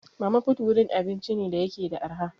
Mama put wurin abinci ne da yake da arha.